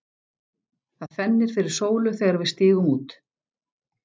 Það fennir fyrir sólu þegar við stígum út.